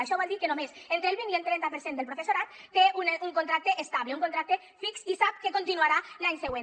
això vol dir que només entre el vint i el trenta per cent del professorat té un contracte estable un contracte fix i sap que continuarà l’any següent